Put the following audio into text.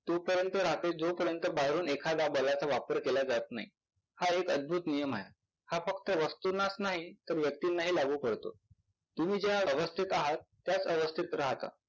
तोपर्यंत राहते जोपर्यंत बाहेरून एखादा बलाचा वापर केला जात नाही. हा एक अद्भुत नियम आहे. हा फक्त वस्तूनांच नाही तर व्यक्तीनांही लागू पडतो. तुम्ही ज्या अवस्थेत आहात त्याच अवस्थेत राहता.